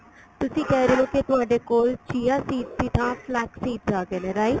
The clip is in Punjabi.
ਤੁਸੀਂ ਕਹਿ ਰਹੇ ਹੋ ਕੇ ਤੁਹਾਡੇ ਕੋਲ chia seeds ਦੀ ਥਾਂ flex seeds ਆ ਗਏ ਨੇ right